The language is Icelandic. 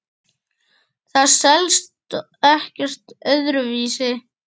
Það selst ekkert öðru vísi.